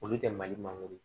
Olu tɛ mali mangoro ye